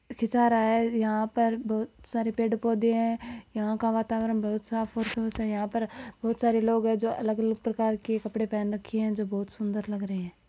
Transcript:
खिचा रहा है यहा पर बहुत सारे पेड़ पोधे है यहा का वातावरण बहुत साफ़ और शुद्ध है और यहा पर बहुत सारे लोग है जो अलग-अलग प्रकार के कपड़े पहन रखे है जो बहुत सुंदर लग रहे है।